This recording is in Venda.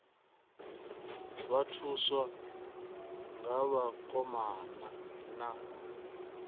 vha thuswa nga vhakoma na